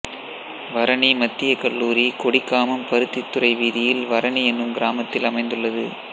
வரணி மத்திய கல்லூரி கொடிகாமம் பருத்தித்துறை வீதியில் வரணி என்னும் கிராமத்தில் அமைந்துள்ளது